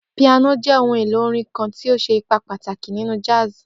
Piano jẹ ohun elo orin kan ti o ṣe ipa pataki ninu jazz